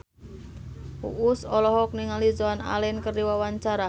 Uus olohok ningali Joan Allen keur diwawancara